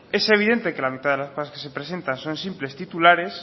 es evidente que la mitad de las cosas que se presentan son simples titulares